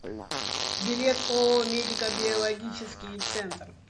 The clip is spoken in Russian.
билет ооо медико биологический центр